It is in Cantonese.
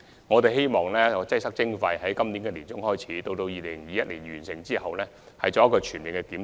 我們希望在今年年中開展"擠塞徵費"研究，及至2021年完成後再進行全面檢討。